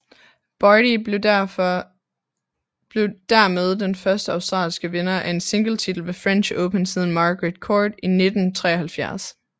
Barty blev dermed den første australske vinder af en singletitel ved French Open siden Margaret Court i 1973